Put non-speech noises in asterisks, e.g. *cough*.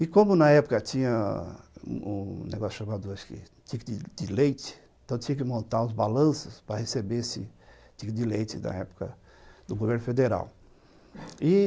E como na época tinha um negócio chamado, acho que, tique de leite, então tinha que montar os balanços para receber esse tique de leite, da época, do governo federal *coughs* e